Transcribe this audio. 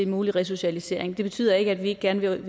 mulig resocialisering det betyder ikke at vi ikke gerne vil